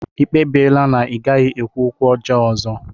Ị kpebiela na ị gaghị ekwu okwu ọjọọ ọzọ?